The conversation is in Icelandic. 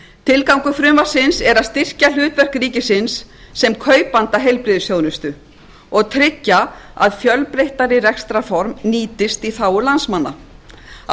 tilgangur frumvarpsins er að styrkja hlutverk ríkisins sem kaupanda heilbrigðisþjónustu og tryggja að fjölbreyttari rekstrarform nýtist í þágu landsmanna á